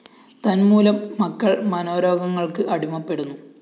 തന്മൂലം? മക്കള്‍ മനോരോഗങ്ങള്‍ക്ക് അടിമപ്പെടുന്നു